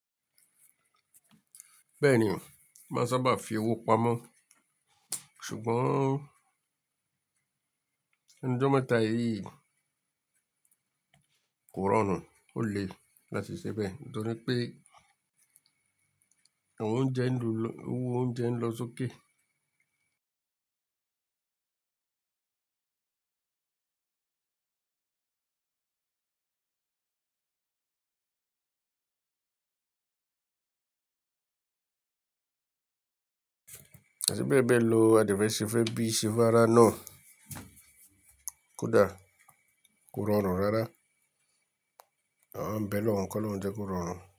Bẹ́ẹ̀ni, máa sábà fi owó pamọ́. Ṣùgbọ́n ẹnu ijọ́ meta yíi kòrórun ó le láti ṣe bẹ́ẹ̀ nítorí pé òun jẹ́ ń lo, owó ounjẹ́ ń lo sókè. Ṣé bẹ́ẹ̀ bẹ́ẹ̀ lo, àde feṣe fẹ́ bíi ṣe fára náà kódà kòrórun rara Àwa ń bẹ olọ̀ún kọ́ lóuń jẹ́ kòrórun.